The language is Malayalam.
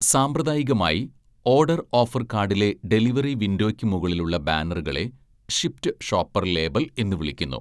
സാമ്പ്രദായികമായി, ഓഡർ ഓഫര്‍ കാഡിലെ ഡെലിവറി വിൻഡോയ്ക്ക് മുകളിലുള്ള ബാനറുകളെ 'ഷിപ്റ്റ് ഷോപ്പർ' ലേബല്‍ എന്ന് വിളിക്കുന്നു.